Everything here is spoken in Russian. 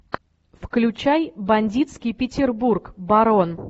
включай бандитский петербург барон